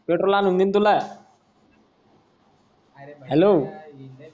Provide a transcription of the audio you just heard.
petrol आणून देईल तुला हॅलो